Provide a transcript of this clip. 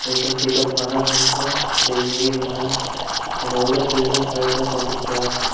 I can see the bharat mata the indian map and all the freedom fighters on the top.